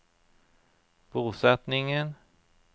bosetningen